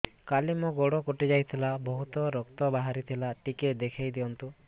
କାଲି ମୋ ଗୋଡ଼ କଟି ଯାଇଥିଲା ବହୁତ ରକ୍ତ ବାହାରି ଥିଲା ଟିକେ ଦେଖି ଦିଅନ୍ତୁ